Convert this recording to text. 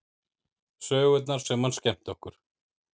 Sögurnar sem hann skemmti okkur